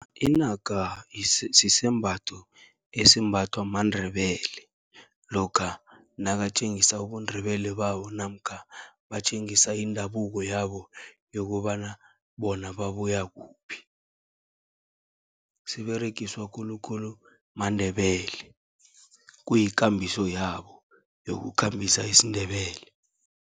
Inaka sisembatho esimbathwa maNdebele, lokha nakatjengisa ubuNdebele babo namkha batjengisa indabuko yabo, yokobana bona babuya kuphi. Siberegiswa khulukhulu maNdebele, kuyikambiso yabo yokukhambisa isiNdebele.